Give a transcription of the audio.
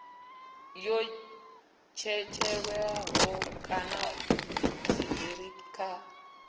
yo tshetshelelwaho kana dziberi kha